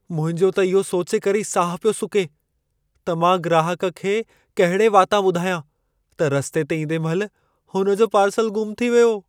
मुंहिंजो त इहो सोचे करे ई साहु पियो सुके त मां ग्राहकु खे कहिड़े वातां ॿुधायां त रस्ते ते ईंदे महिल हुन जो पार्सलु ग़ुम थी वियो।